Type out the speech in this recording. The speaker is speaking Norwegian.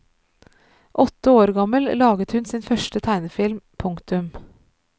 Åtte år gammel laget hun sin første tegnefilm. punktum